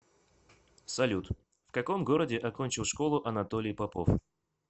салют в каком городе окончил школу анатолий попов